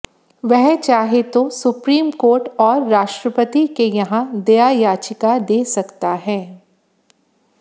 वह चाहे तो सुप्रीम कोर्ट और राष्ट्रपति के यहां दया याचिका दे सकता है